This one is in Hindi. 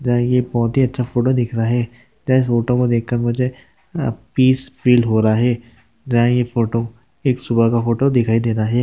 दा ये बहुत ही अच्छा फोटो दिख रहा है त्याच फोटोमध्ये देख कर मुझे पीस फील हो रहा है दा ये फोटो एक सुबह का फोटो दिखाई दे रहा है।